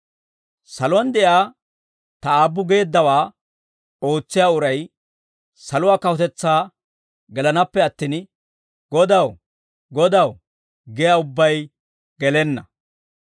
«Saluwaan de'iyaa Ta Aabbu geeddawaa ootsiyaa uray saluwaa kawutetsaa gelanaappe attin, ‹Godaw, Godaw› giyaa ubbay gelenna.